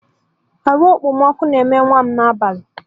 Ahu Okpomọkụ na eme nwa'm n'abalị.